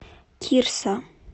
кирса